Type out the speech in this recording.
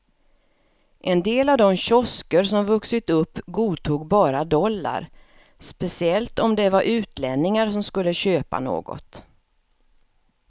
En del av de kiosker som vuxit upp godtog bara dollar, speciellt om det var utlänningar som skulle köpa något.